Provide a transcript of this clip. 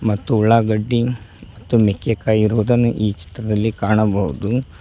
ಮತ್ತು ಉಳ್ಳಾಗಡ್ಡಿ ಮತ್ತು ಮೆಕ್ಕೆಕಾಯಿ ಇರುವುದನ್ನು ಈ ಚಿತ್ರದಲ್ಲಿ ಕಾಣಬಹುದು.